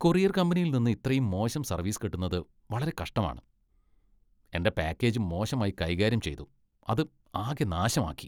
Courier കമ്പനിയിൽ നിന്ന് ഇത്രയും മോശം സർവീസ് കിട്ടുന്നത് വളരെ കഷ്ടമാണ്. എന്റെ പാക്കേജ് മോശമായി കൈകാര്യം ചെയ്തു , അത് ആകെ നാശമാക്കി .